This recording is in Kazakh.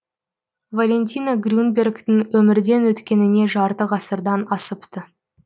валентина грюнбергтің өмірден өткеніне жарты ғасырдан асыпты